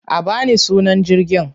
A ba ni sunan jirgin!